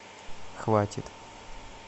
хватит